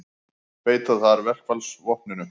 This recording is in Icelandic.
Beita þarf verkfallsvopninu